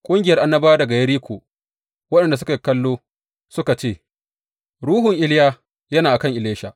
Ƙungiyar annabawa daga Yeriko, waɗanda suke kallo, suka ce, Ruhun Iliya yana a kan Elisha.